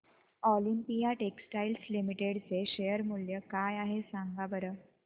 Olympia textiles limited चे share मूल्य काय आहे सांगा बरं